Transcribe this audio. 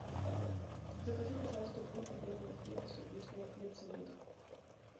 закажи пожалуйста булку белого хлеба с иркутского хлебозавода